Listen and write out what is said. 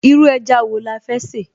Irú ẹja wo la fẹ́ sè?